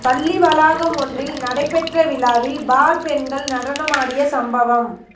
பள்ளி வளாகம் ஒன்றில் நடைபெற்ற விழாவில் பார் பெண்கள் நடனமாடிய சம்பவம்